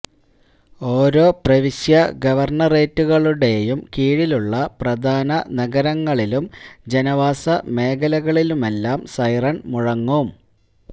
ഓരോ പ്രവിശ്യാ ഗവര്ണറേറ്റുകളുടെയും കീഴിലുള്ള പ്രധാന നഗരങ്ങളിലും ജനവാസ മേഖലകളിലുമെല്ലാം സൈറണ് മുഴങ്ങും